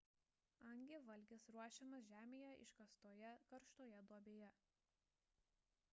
hangi valgis ruošiamas žemėje iškastoje karštoje duobėje